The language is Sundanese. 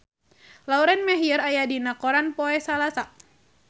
Lauren Maher aya dina koran poe Salasa